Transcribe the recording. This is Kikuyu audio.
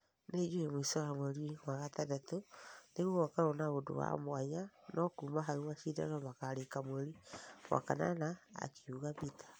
Nĩjũe mũisho wa mweri wa gatandatũ nĩgũgakorwo na ũndũ wa mwanya , no kuma hau mashidano makarĩka mweri wa kanana," akiuga peter